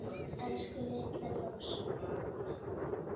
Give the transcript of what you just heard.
Elsku litla ljós.